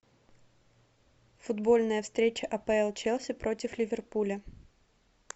футбольная встреча апл челси против ливерпуля